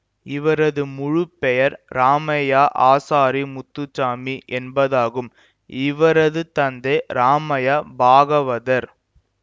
இவரது முழுப்பெயர் ராமையா ஆசாரி முத்துசாமி என்பதாகும் இவரது தந்தை ராமையா பாகவதர்